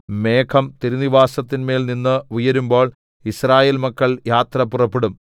മേഘം തിരുനിവാസത്തിന്മേൽനിന്ന് ഉയരുമ്പോൾ യിസ്രായേൽ മക്കൾ യാത്ര പുറപ്പെടും